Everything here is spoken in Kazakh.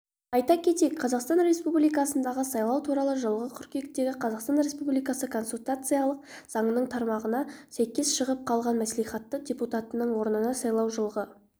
айта кетейік қазақстан республикасындағы сайлау туралы жылғы қыркүйектегі қазақстан республикасы конституциялық заңының тармағына сәйкес шығып қалған мәслихаты депутатының орнына сайлау жылғы